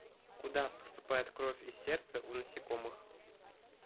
куда поступает кровь из сердца у насекомых